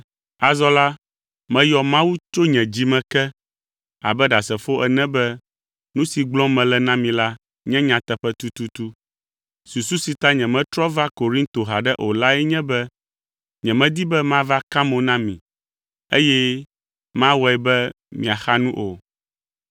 Azɔ la, meyɔ Mawu tso nye dzi me ke abe ɖasefo ene be nu si gblɔm mele na mi la nye nyateƒe tututu; susu si ta nyemetrɔ va Korinto haɖe o lae nye be nyemedi be mava ka mo na mi, eye mawɔe be miaxa nu o.